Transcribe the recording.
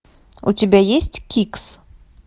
у тебя есть кикс